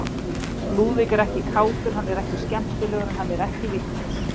Lúðvík er ekki kátur, hann er ekki skemmtilegur, en hann er ekki vitlaus.